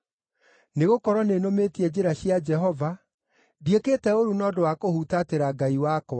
Nĩgũkorwo nĩnũmĩtie njĩra cia Jehova; ndiĩkĩte ũũru na ũndũ wa kũhutatĩra Ngai wakwa.